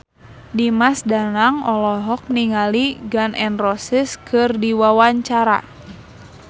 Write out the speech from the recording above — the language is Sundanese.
Dimas Danang olohok ningali Gun N Roses keur diwawancara